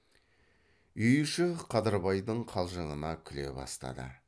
үй іші қадырбайдың қалжыңына күле бастады